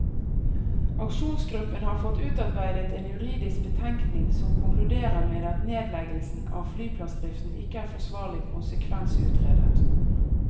Aksjonsgruppen har fått utarbeidet en juridisk betenkning som konkluderer med at nedleggelsen av flyplassdriften ikke er forsvarlig konsekvensutredet.